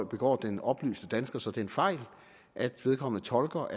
begår den oplyste dansker så den fejl at vedkommende tolker